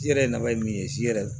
I yɛrɛ nafa ye min ye shɛrɛ